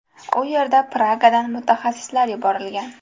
U yerga Pragadan mutaxassislar yuborilgan.